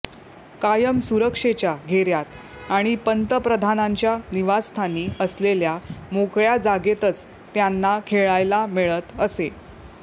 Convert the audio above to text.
कायम सुरक्षेच्या घेऱ्यात आणि पंतप्रधानांच्या निवासस्थानी असलेल्या मोकळ्या जागेतच त्यांना खेळायला मिळत असे